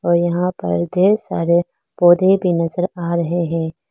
और यहां पर ढेर सारे पौधे भी नजर आ रहे हैं।